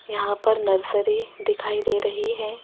यहां पर नर्सरी दिखाई दे रही है।